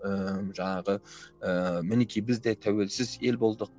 ііі жаңағы ыыы мінекей біз де тәуелсіз ел болдық